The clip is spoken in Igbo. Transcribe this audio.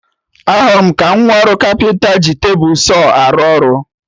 Ahụrụ m ka nwa ọrụ kapịnta ji tebụl Saw arụ ọrụ